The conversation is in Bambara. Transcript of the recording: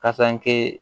Kayi